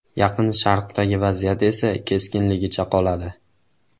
Yaqin Sharqdagi vaziyat esa keskinligicha qoladi.